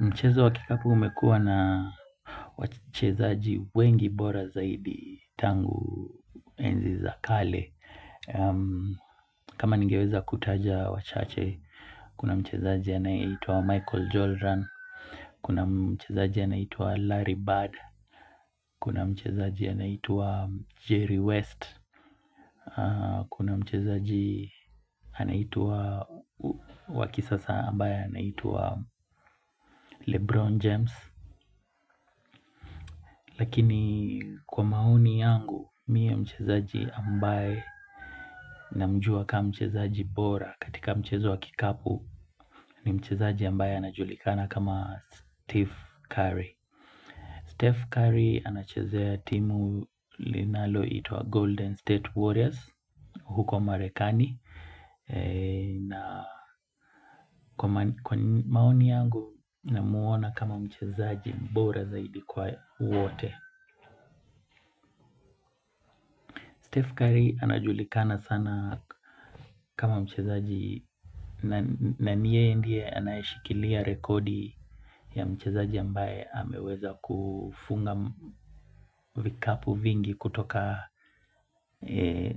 Mchezo wa kikapu umekuwa na wachezaji wengi bora zaidi tangu enzi za kale. Kama ningeweza kutaja wachache, kuna mchezaji anayeitwa Michael Jordan, kuna mchezaji anaitwa Larry Bird, kuna mchezaji anaitwa Jerry West, kuna mchezaji anaitwa wa kisasa ambaye anaitwa Lebron James. Lakini kwa maoni yangu mie mchezaji ambaye namjua ka mchezaji bora katika mchezo wa kikapu ni mchezaji ambaye anajulikana kama Steve Curry Steve Curry anachezea timu linaloitwa Golden State Warriors huko Marekani na kwa maoni yangu namuona kama mchezaji bora zaidi kwa wote Steve Curry anajulikana sana kama mchezaji na ni yeye ndiye anayeshikilia rekodi ya mchezaji ambaye ameweza kufunga vikapu vingi kutoka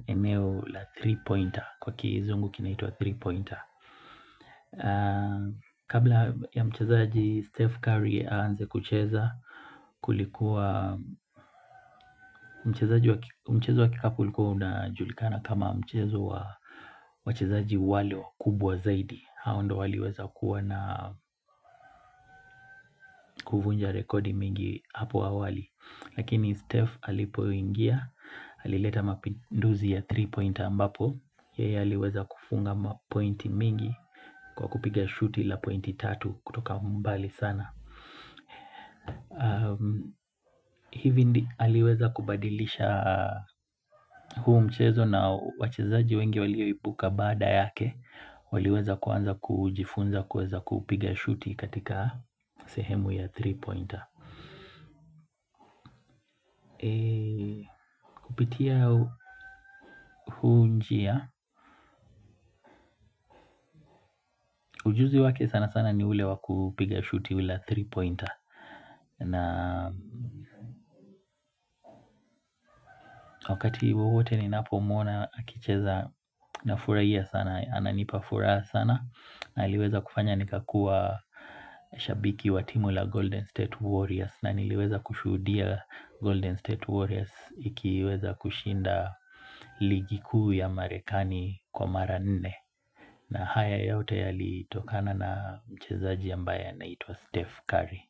eneo la three pointer kwa kizungu kinaitwa three pointer Kabla ya mchezaji Steve Curry aanze kucheza Kulikuwa mchezaji wa mchezo wa kikapu ulikuwa unajulikana kama mchezo wa wachezaji wale wakubwa zaidi hao ndio waliweza kuwa na kuvunja rekodi mingi hapo awali Lakini Steve alipoingia, alileta mapinduzi ya three pointer ambapo yeye aliweza kufunga mapointi mingi kwa kupiga shooti la pointi tatu kutoka mbali sana hivi ndi aliweza kubadilisha huu mchezo na wachezaji wengi walioibuka baada yake waliweza kuanza kujifunza kuweza kupiga shuti katika sehemu ya three pointer Kupitia huu njia Ujuzi wake sana sana ni ule wa kupiga shuti ule wa three pointer na wakati wowote ninapo muona akicheza nafurahia sana Ananipa furaha sana na aliweza kufanya nikakuwa shabiki wa timu la Golden State Warriors na niliweza kushuhudia Golden State Warriors ikiweza kushinda ligi kuu ya Marekani kwa mara nne na haya yote yalitokana na mchezaji ambaye anaitwa Steve Curry.